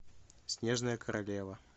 снежная королева